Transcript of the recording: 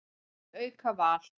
Vill auka val